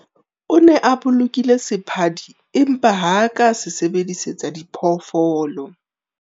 O ne a bolokile sephadi empa ha a ka a se sebedisetsa diphoofolo.